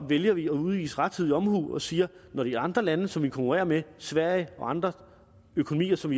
vælger vi at udvise rettidig omhu og sige når de andre lande som danmark konkurrerer med sverige og andre økonomier som